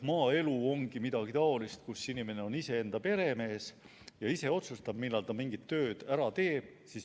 Maaelu on midagi taolist, kus inimene on iseenda peremees, ise otsustab, millal ta mingit tööd teeb.